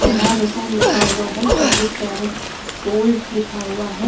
शहनाज हुसैन लिखा हुआ है। चौबीस कैरेट गोल्ड लिखा हुआ है।